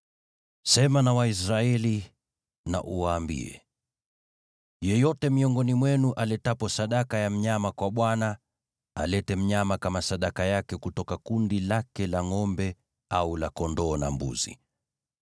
“Sema na Waisraeli na uwaambie, ‘Yeyote miongoni mwenu aletapo sadaka ya mnyama kwa Bwana , alete mnyama kama sadaka yake kutoka kundi lake la ngʼombe au la kondoo na mbuzi.